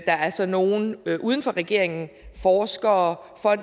er så nogle uden for regeringen forskere og